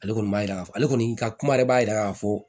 Ale kɔni b'a yira ale kɔni ka kuma yɛrɛ b'a yira k'a fɔ